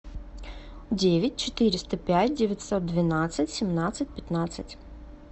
девять четыреста пять девятьсот двенадцать семнадцать пятнадцать